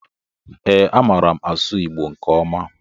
Ee, amaara m asụ Igbo nke ọma.